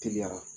Teliya